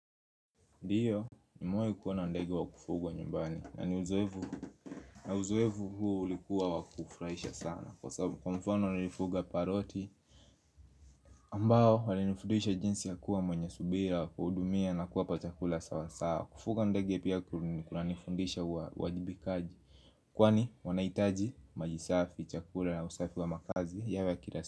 Ndio nimewai kuwa na ndege wa kufugwa nyumbani na ni uzoevu na uzoevu huu ulikuwa wakufurahisha sana Kwa mfano nilifuga paroti ambao walinifuduisha jinsi ya kuwa mwenye subira Kwa udumia na kuwa patakula sawa sawa Kufuga ndegi ya kuwa nifundisha wajibikaji Kwani wanahitaji maji safi, chakula, usafi wa makazi yawe kila sasa.